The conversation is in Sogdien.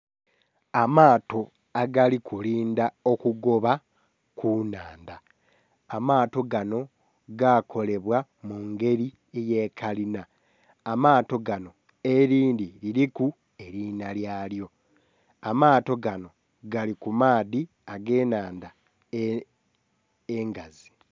Amaato agali kulindha okugooba ku nhandha amaato ganho gaakolebwa mungeri eye kalina amaato ganho elindhi liliku erina lyaalyo, amaato ganho gali ku maadhi age nhandha engazi.